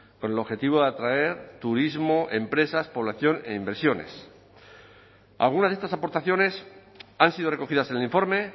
con el objetivo de atraer turismo empresas población e inversiones algunas de estas aportaciones han sido recogidas en el informe